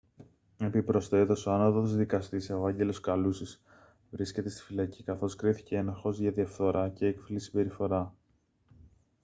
επιπροσθέτως ο ανώτατος δκαστής ευάγγελος καλούσης βρίσκεται στη φυλακή καθώς κρίθηκε ένοχος για διαφθορά και έκφυλη συμπεριφορά